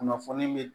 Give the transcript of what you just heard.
Kunnafoni be